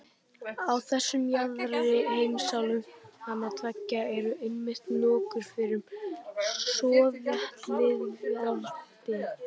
Á þessum jaðri heimsálfanna tveggja eru einmitt nokkur fyrrum sovétlýðveldi.